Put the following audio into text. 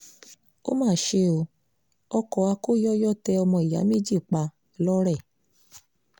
ó mà ṣe o ọkọ̀ akóyọyọ tẹ ọmọ ìyá méjì pa lọ́rẹ́